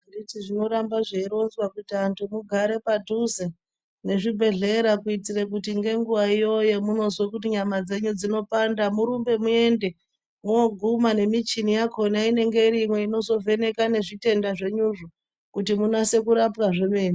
Handiti zvinoramba zveironnzwa kuyi antu mugare padhuze nezvibhehlera. Kuitire kuti ngenguvayo yemunozwe kuti nyama dzenyu dzinopanda murumbe muende. Mooguma nemichini yakona inenge irimwo inozovheneka nezvitenda zvenyuzvo, kuti munyatse kurapwa zvomene.